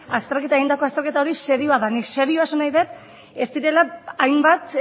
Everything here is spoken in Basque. egindako azterketa hori serioa denik serioa esan nahi dut ez direla hainbat